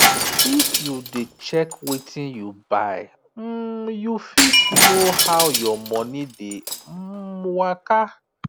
if you dey check wetin you buy um you fit know how your money dey um waka